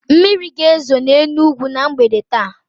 Mmiri ga-ezo n'Enugwu na mgbede taa